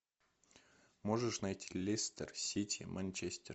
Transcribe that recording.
можешь найти лестер сити манчестер